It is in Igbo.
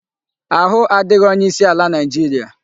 Ahu adighi onye isi ala Naijiria